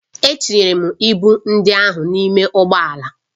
Etinyere m ịbụ ndị ahụ n'ime ụgbọ ala